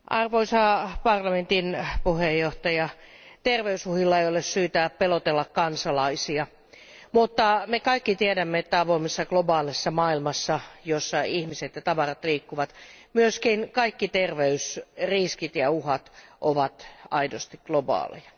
Arvoisa puhemies, terveysuhilla ei ole syytä pelotella kansalaisia, mutta me kaikki tiedämme, että avoimessa globaalissa maailmassa, jossa ihmiset ja tavarat liikkuvat, myös kaikki terveysriskit ja uhat ovat aidosti globaaleja.